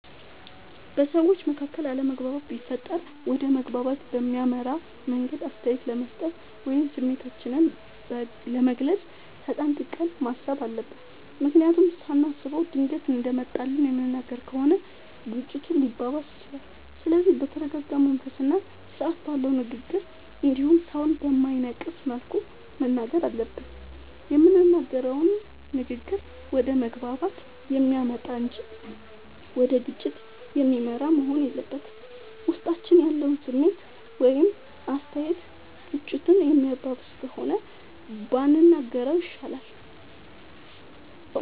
በሠዎች መካከል አለመግባባት ቢፈጠር ወደ መግባባት በሚያመራ መንገድ አስተያየት ለመስጠት ወይም ስሜታችንን ለመግለፅ ተጠንቅቀን ማሠብ አለብ። ምክንያቱም ሳናስበው ድንገት እንደመጣልን የምንናገር ከሆነ ግጭቱ ሊባባስም ይችላል። ስለዚህ በተረረጋ መንፈስና ስርአት ባለው ንግግር እንዲሁም ሠውን በማይነቅፍ መልኩ መናገር አለብን። የምንናገረውም ንግግር ወደ መግባባት የሚያመጣ እንጂ ወደ ግጭት የሚመራ መሆን የለበትም። ውስጣችን ያለው ስሜት ወይም አስተያየት ግጭቱን የሚያባብስ ከሆነ ባንናገረው ይሻላል።